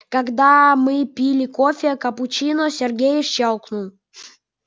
когда мы пили кофе капучино сергей щёлкнул